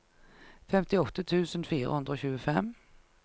femtiåtte tusen fire hundre og tjuefem